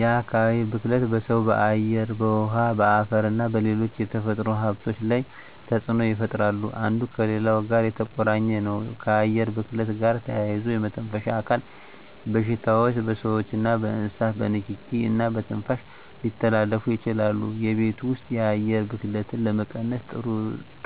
የአካባቢ ብክለት በሰው በአየር በውሀ በአፈርና በሌሎች የተፈጥሮ ሀብቶች ላይ ተፅኖ ይፈጥራሉ አንዱ ከሌላው ጋር የተቆራኘ ነው ከአየር ብክለት ጋር ተያይዞ የመተንፈሻ አካል በሽታዎች በስዎችና በእንስሳት በንኪኪ እና በትንፋሽ ሊተላለፉ ይችላሉ የቤት ውስጥ የአየር ብክለትን ለመቀነስ ጥሩ